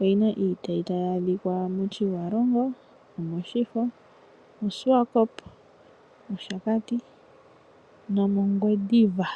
oyi na iitayi tayi adhika mOtjiwarongo, omOshifo, moSwakpmund, mOshakati nomOngwediva.